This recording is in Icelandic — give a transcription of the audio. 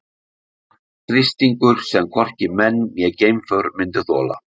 Þrýstingur sem hvorki menn né geimför myndu þola.